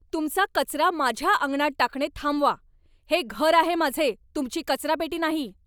तुमचा कचरा माझ्या अंगणात टाकणे थांबवा. हे घर आहे माझे, तुमची कचरापेटी नाही!